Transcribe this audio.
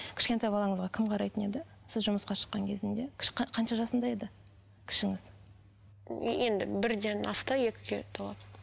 кішкентай балаңызға кім қарайтын еді сіз жұмысқа шыққан кезінде қанша жасында еді кішіңіз енді бірден асты екіге толады